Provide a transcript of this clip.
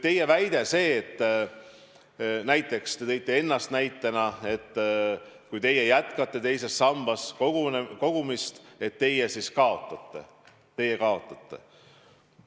Te ütlesite ennast näiteks tuues, et kui teie jätkate teises sambas kogumist, siis teie kaotate.